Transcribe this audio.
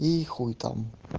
и хуй там